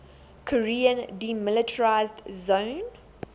korean demilitarized zone